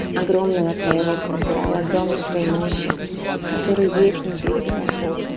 огромного твоего потенциала огромной твоей мощи которые есть внутри тебя